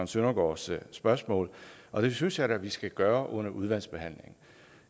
søndergaards spørgsmål og det synes jeg da at vi skal gøre under udvalgsbehandlingen